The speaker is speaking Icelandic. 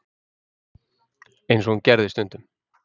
eins og hún gerði stundum.